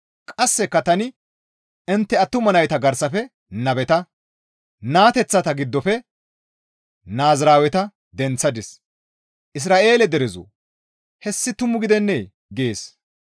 Qasseka tani intte attuma nayta garsafe nabeta, naateththata giddofe naaziraaweta denththadis. Isra7eele derezoo! Hessi tumu gidennee?» gees.